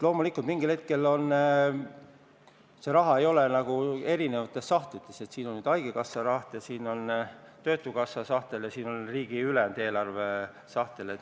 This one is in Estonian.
Loomulikult, see raha ei ole erinevates sahtlites, et siin on nüüd haigekassa sahtel ja siin on töötukassa sahtel ja siin on riigi ülejäänud eelarve sahtel.